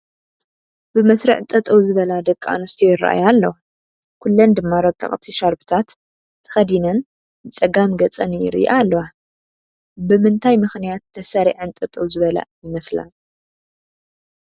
ብመስርዕ ጠጠው ዝበላ ደቂ ኣንስትዮ ይራኣያ ኣለዋ፡፡ ኩለን ድማ ረቐቕቲ ሻርኘታት ተኸዲነን ንፀጋም ገፀን ይሪኣ ኣለዋ፡፡ ብምንታይ ምኽንያት ተሰሪዐን ጠጠው ዝበላ ይመስላ?